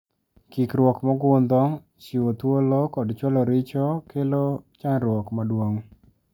Kikruok mogundho chiwo thuolo kod chwalo richo kelo chandruok maduong.